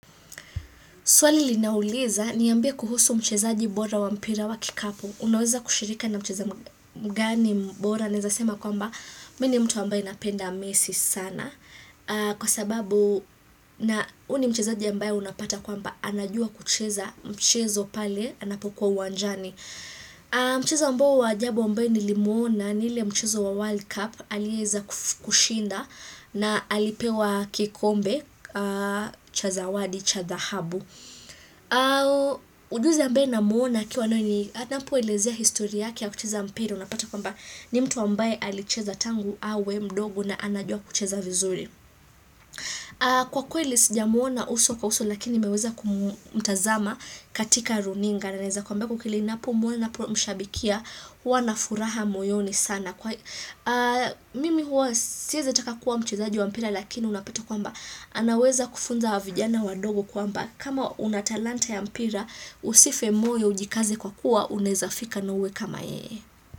Swali linauliza niambie kuhusu mchezaji bora wa mpira wa kikapu. Unaweza kushirika na mchezaji mgani bora. Naeza sema kwamba mi ni mtu ambaye napenda messi sana. Kwa sababu na u ni mchezaji ambaye unapata kwamba anajua kucheza mchezo pale anapokuwa uwanjani. Mchezo ambao wa ajabu ambaye ni limwona ni ile mchezo wa World Cup. Alieza kushinda na alipewa kikombe cha zawadi cha dhahabu. Ujuzi ambaye namuona akiwa anapo elezia historia yake ya kucheza mpira Unapata kwamba ni mtu ambaye alicheza tangu awe mdogo na anajua kucheza vizuri Kwa kweli sija muona uso kwa uso lakini nimeweza kumutazama katika runinga na naeza kwamba kwa kweli napo muona mshabikia hua na furaha moyoni sana Mimi hua siyeza taka kuwa mchezaji wa mpira lakini unapata kwamba anaweza kufunza vijana wadogo kwamba kama unatalanta ya mpira usife moyo ujikaze kwa kuwa unaezafika na uwe kama yeye.